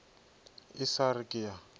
e sa re ke a